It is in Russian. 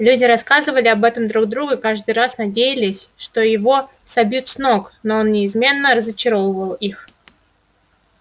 люди рассказывали об этом друг другу и каждый раз надеялись что его собьют с ног но он неизменно разочаровывал их